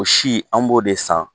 O si an b'o de san